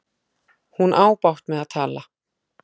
Hún á bágt með að tala.